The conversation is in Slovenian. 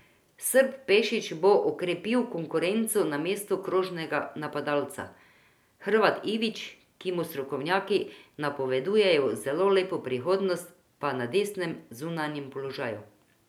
Srb Pešić bo okrepil konkurenco na mestu krožnega napadalca, Hrvat Ivić, ki mu strokovnjaki napovedujejo zelo lepo prihodnost, pa na desnem zunanjem položaju.